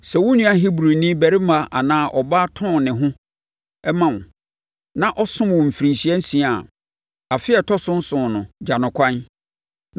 Sɛ wo nua Hebrini barima anaa ɔbaa tɔn ne ho ma wo na ɔsom wo mfirinhyia nsia a, afe a ɛtɔ so nson no, gya no ɛkwan.